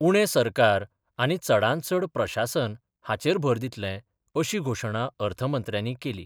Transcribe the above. उणे सरकार आनी चडांतचड प्रशासन हाचेर भर दितले, अशी घोशणा अर्थमंत्र्यानी केली.